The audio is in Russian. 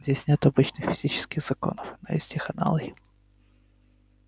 здесь нет обычных физических законов но есть их аналоги